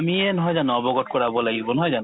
আমিয়ে নহয় জানো অৱগত কৰাব লাগিব নহয় জানো